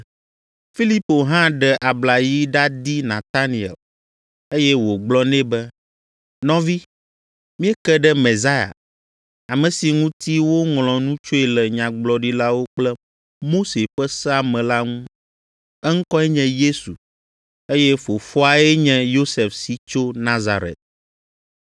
Filipo hã ɖe abla yi ɖadi Nataniel, eye wògblɔ nɛ be, “Nɔvi, míeke ɖe Mesia, ame si ŋuti woŋlɔ nu tsoe le Nyagblɔɖilawo kple Mose ƒe sea me la ŋu. Eŋkɔe nye Yesu, eye fofoae nye Yosef si tso Nazaret.”